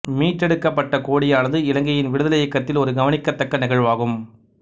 மீட்டெடுக்கப்பட்ட கோடியானது இலங்கையின் விடுதலை இயக்கத்தில் ஓரு கவனிக்கத்தக்க நிகழ்வாகும்